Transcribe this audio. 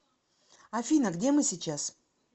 афина где мы сейчас